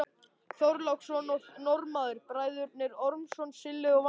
Þorláksson og Norðmann, Bræðurnir Ormsson, Silli og Valdi.